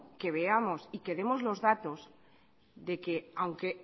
que veamos y que demos los datos de que aunque